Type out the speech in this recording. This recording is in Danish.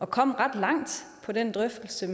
kom ret langt i den drøftelse